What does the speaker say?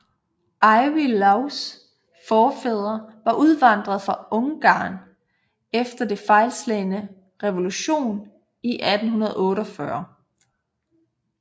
Ivy Lows forfædre var udvandret fra Ungarn efter den fejlslagne revolution i 1848